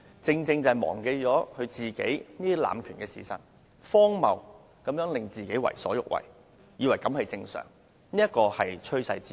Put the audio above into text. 正因他忘了自己濫權的事實，便為所欲為，視荒謬行徑為正常，這是趨勢之一。